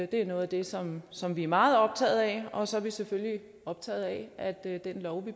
det er noget af det som som vi er meget optaget af og så er vi selvfølgelig optaget af at den lov vi